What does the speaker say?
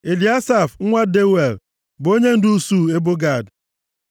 Eliasaf nwa Deuel bụ onyendu usuu ebo Gad.